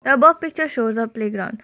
the above picture shows a playground.